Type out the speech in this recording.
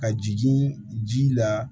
Ka jigin ji la